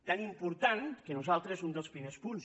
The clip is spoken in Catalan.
tan important que nosaltres un dels primers punts